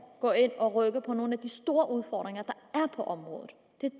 gå ind og rykke ved nogle af de store udfordringer der er på området